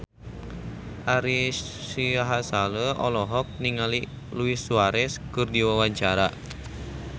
Ari Sihasale olohok ningali Luis Suarez keur diwawancara